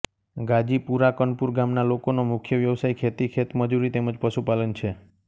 ગાજીપુરા કનપુર ગામના લોકોનો મુખ્ય વ્યવસાય ખેતી ખેતમજૂરી તેમ જ પશુપાલન છે